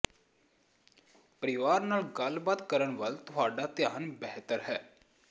ਪਰਿਵਾਰ ਨਾਲ ਗੱਲਬਾਤ ਕਰਨ ਵੱਲ ਤੁਹਾਡਾ ਧਿਆਨ ਬਿਹਤਰ ਹੈ